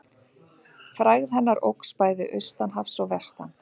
Frægð hennar óx bæði austan hafs og vestan.